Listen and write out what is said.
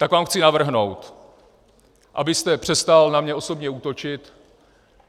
Tak vám chci navrhnout, abyste přestal na mě osobně útočit.